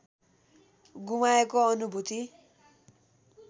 गुमाएको अनुभूति